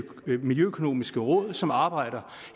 miljøøkonomiske råd som arbejder